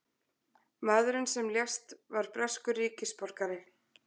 Maðurinn sem lést var breskur ríkisborgari